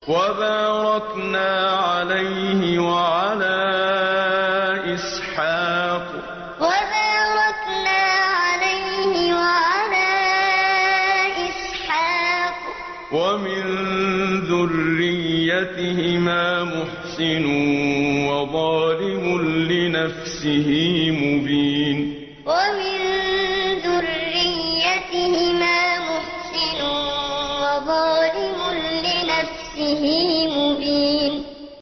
وَبَارَكْنَا عَلَيْهِ وَعَلَىٰ إِسْحَاقَ ۚ وَمِن ذُرِّيَّتِهِمَا مُحْسِنٌ وَظَالِمٌ لِّنَفْسِهِ مُبِينٌ وَبَارَكْنَا عَلَيْهِ وَعَلَىٰ إِسْحَاقَ ۚ وَمِن ذُرِّيَّتِهِمَا مُحْسِنٌ وَظَالِمٌ لِّنَفْسِهِ مُبِينٌ